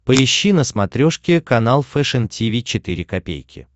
поищи на смотрешке канал фэшн ти ви четыре ка